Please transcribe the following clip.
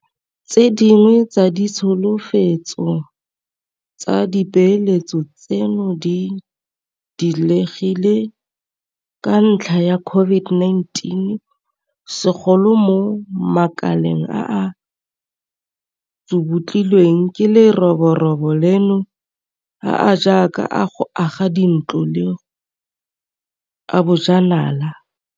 Tse dingwe tsa ditsholofetso tsa dipeeletso tseno di diegile ka ntlha ya COVID-19, segolo mo makaleng a a tsubutlilweng ke leroborobo leno a a jaaka a go aga dintlo le a bojanala.